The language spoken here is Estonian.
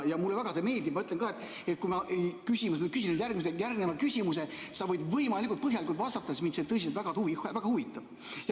Mulle see väga meeldib, ma ütlen ka, et kui ma küsin nüüd järgmise küsimuse, siis sa võid võimalikult põhjalikult vastata, sest mind tõsiselt väga huvitab.